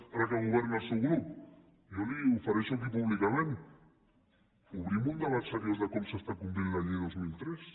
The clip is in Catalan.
ara que governa el seu grup jo li ofereixo aquí públicament obrim un debat seriós de com s’està complint la llei del dos mil tres